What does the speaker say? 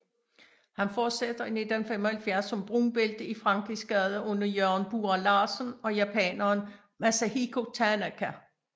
Han fortsætter i 1975 som brunbælte i Frankrigsgade under Jørgen Bura Larsen og japaneren Masahiko Tanaka